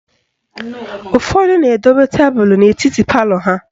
Ụfọdụ na-edobe tebulu n'etiti palọ ha.